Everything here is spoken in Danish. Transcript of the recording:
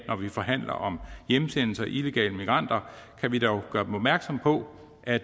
når vi forhandler om hjemsendelse og illegale migranter dog gøre dem opmærksomme på at